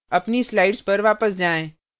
अपनी slides पर वापस जाएँ